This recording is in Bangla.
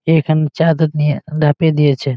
এখানে চাদর নিয়ে ন্যাপে দিয়েছে।